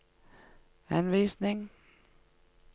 henvisning